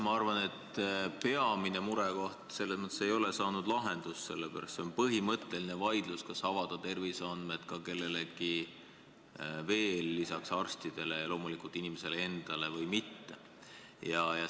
Ma arvan, et peamine murekoht ei ole saanud lahendust, sest on põhimõtteline vaidlus, kas avaldada terviseandmed ka kellelegi teisele peale arstide – ja loomulikult inimese enda – või mitte.